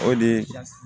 O de ye